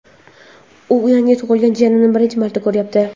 U yangi tug‘ilgan jiyanini birinchi marta ko‘ryapti.